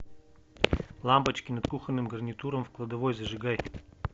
лампочки над кухонным гарнитуром в кладовой зажигай